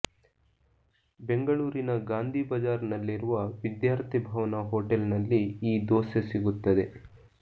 ಬೆಂಗಳೂರಿನ ಗಾಂಧಿ ಬಜಾರ್ ನಲ್ಲಿರುವ ವಿದ್ಯಾರ್ಥಿ ಭವನ ಹೋಟೆಲ್ನಲ್ಲಿ ಈ ದೋಸೆ ಸಿಗುತ್ತದೆ